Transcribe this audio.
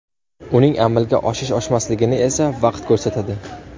Uning amalga oshish-oshmasligini esa vaqt ko‘rsatadi.